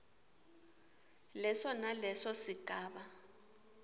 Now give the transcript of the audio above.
leso naleso sigaba